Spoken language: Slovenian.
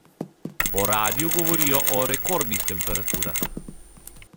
Po radiu govorijo o rekordnih temperaturah.